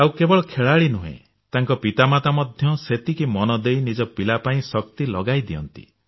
ଆଉ କେବଳ ଖେଳାଳି ନୁହେଁ ତାଙ୍କ ପିତାମାତା ମଧ୍ୟ ସେତିକି ମନ ଦେଇ ନିଜ ପିଲା ପାଇଁ ଶକ୍ତି ଲଗାଇ ଦିଅନ୍ତି